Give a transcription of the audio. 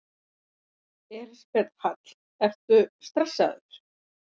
Elísabet Hall: Ertu stressaður?